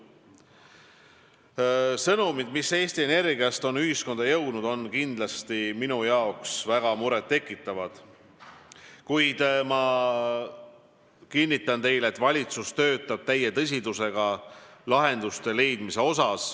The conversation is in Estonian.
Sõnumid, mis Eesti Energiast on ühiskonda jõudnud, on minu arvates kindlasti väga muret tekitavad, kuid ma kinnitan teile, et valitsus töötab täie tõsidusega lahenduste leidmiseks.